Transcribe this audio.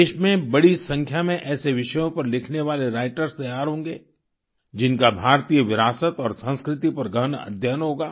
देश में बड़ी संख्या में ऐसे विषयों पर लिखने वाले राइटर्स तैयार होंगे जिनका भारतीय विरासत और संस्कृति पर गहन अध्ययन होगा